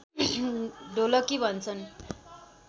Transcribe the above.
ढोलकी भन्छन्